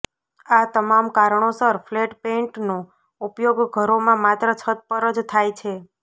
આ તમામ કારણોસર ફ્લેટ પેઇન્ટનો ઉપયોગ ઘરોમાં માત્ર છત પર જ થાય છે